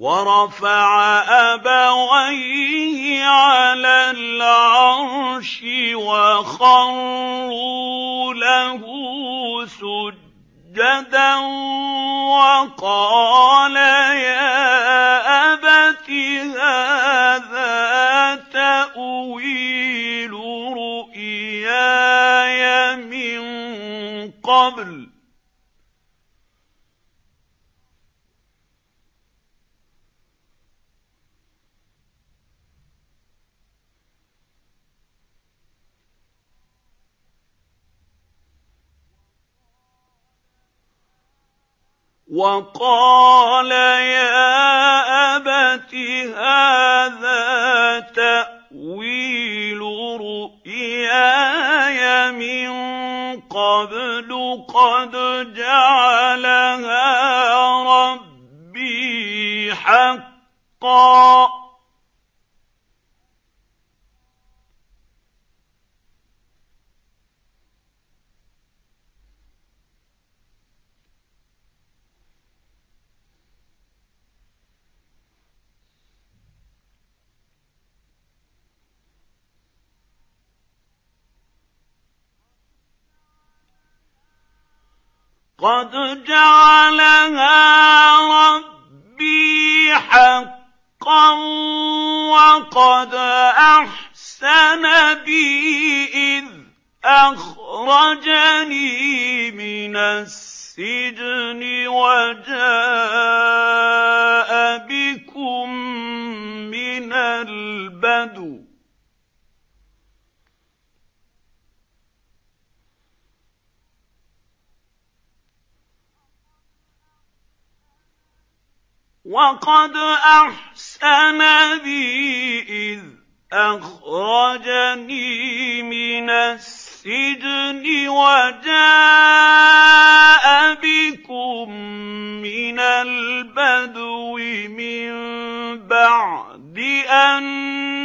وَرَفَعَ أَبَوَيْهِ عَلَى الْعَرْشِ وَخَرُّوا لَهُ سُجَّدًا ۖ وَقَالَ يَا أَبَتِ هَٰذَا تَأْوِيلُ رُؤْيَايَ مِن قَبْلُ قَدْ جَعَلَهَا رَبِّي حَقًّا ۖ وَقَدْ أَحْسَنَ بِي إِذْ أَخْرَجَنِي مِنَ السِّجْنِ وَجَاءَ بِكُم مِّنَ الْبَدْوِ مِن بَعْدِ أَن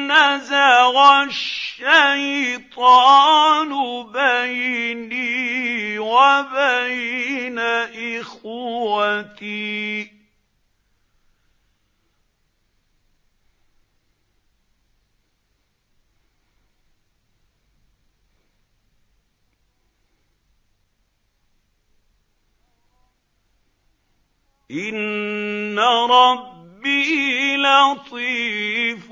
نَّزَغَ الشَّيْطَانُ بَيْنِي وَبَيْنَ إِخْوَتِي ۚ إِنَّ رَبِّي لَطِيفٌ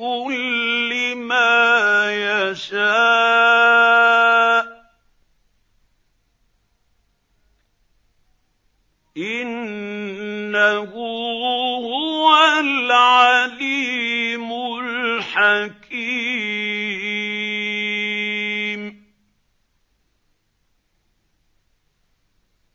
لِّمَا يَشَاءُ ۚ إِنَّهُ هُوَ الْعَلِيمُ الْحَكِيمُ